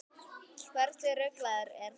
Hversu ruglað er þetta?